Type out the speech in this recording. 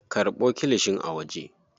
Karɓo kilishin a waje.